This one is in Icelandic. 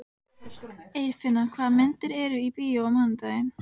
Eirfinna, hvaða myndir eru í bíó á mánudaginn?